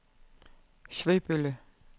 Svebølle